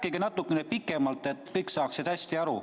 Rääkige natuke pikemalt, et kõik saaksid hästi aru.